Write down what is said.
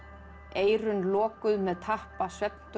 eyrun lokuð með tappa